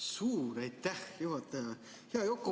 Suur aitäh, juhataja!